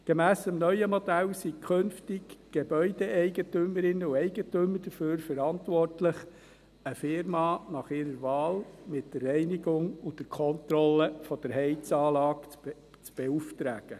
Gemäss dem neuen Modell sind künftig die Gebäude-Eigentümerinnen und -Eigentümer dafür verantwortlich, eine Firma ihrer Wahl mit der Reinigung und Kontrolle der Heizanlage zu beauftragen.